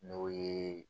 N'o ye